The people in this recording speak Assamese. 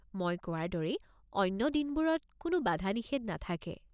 মই কোৱাৰ দৰেই অন্য দিনবোৰত কোনো বাধা-নিষেধ নাথাকে।